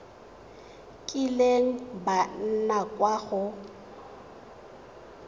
kileng ba nna kwa go